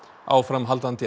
áframhaldandi